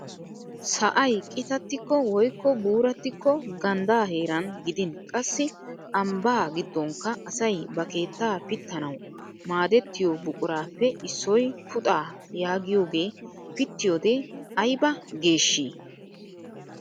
Sa'ay qitatikko woykko buuratikko ganddaa heran gidin qassi ambbaa gidonikka asay ba keettaa pittanawu maadettiyoo buquraappe issoy puxaa yaagiyooge piittiyode ayba geeshshii!